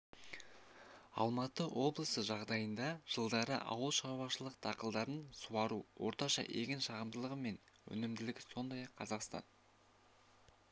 алматы облысы жағдайында жылдары ауылшаруашылық дақылдарын суару орташа егін шығымдылығы мен өнімділігі сондай-ақ қазақстан бойынша